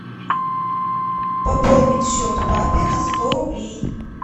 пополнить счет папе на сто рублей